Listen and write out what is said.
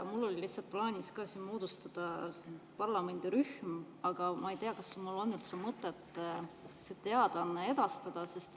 Mul oli plaanis moodustada parlamendirühm, aga ma ei tea, kas mul on üldse mõtet see teadaanne edastada.